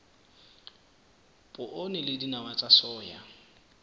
poone le dinawa tsa soya